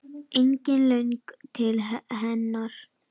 Engin löngun til hennar.